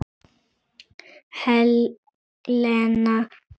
Helena Lind.